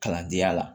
Kalandenya la